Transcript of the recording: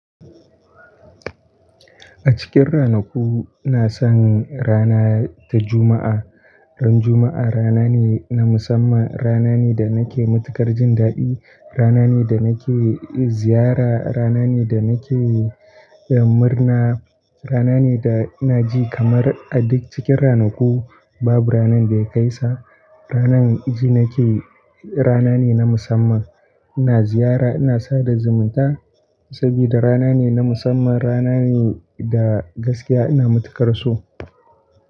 A cikin ranaku na san rana ta Juma'a. Ran Juma'a rana ne na musamman, rana ne da nake matukar jin daɗi, rana ne da nake ziyara, rana ne da nake murna, rana ne da na ji kamar a duk cikin ranaku babu rana da ya kai sa. Ranar ji nake rana ne na musamman, ina ziyara ina sada zumunta saboda rana ne na musamman rana ne da gaskiya ina matukar so.